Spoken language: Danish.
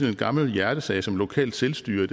en gammel hjertesag som lokalt selvstyre